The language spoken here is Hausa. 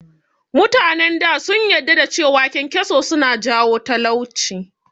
Mutanen da sun yadda da cewa kyankyaso suna jawo talauci